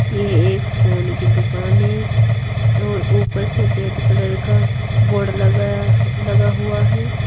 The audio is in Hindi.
ये एक फोन की दुकान है और ऊपर सफेद कलर का बोर्ड लगाया लगा हुआ है।